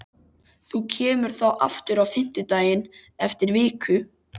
Þú kemur þá aftur á fimmtudaginn eftir viku?